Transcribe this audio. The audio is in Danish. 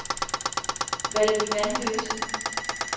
Valby Vanløse